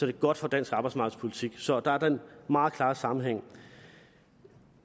det godt for dansk arbejdsmarkedspolitik så der er den meget klare sammenhæng